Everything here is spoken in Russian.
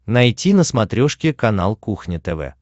найти на смотрешке канал кухня тв